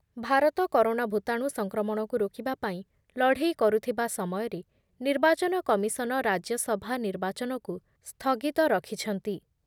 Bharat corona ଭୂତାଣୁ ସଂକ୍ରମଣକୁ ରାକିବା ପାଇଁ ଲଢେଇ କରୁଥିବା ସମୟରେ ନିର୍ବାଚନ କମିଶନ ରାଜ୍ୟ ସଭା ନିର୍ବାଚନକୁ ସ୍ଥଗିତ ରଖିଛନ୍ତି।